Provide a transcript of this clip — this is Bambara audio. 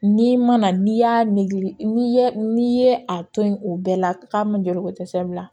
N'i mana n'i y'a nege n'i ye n'i ye a to yen o bɛɛ la k'a ma joro ko dɛsɛ bila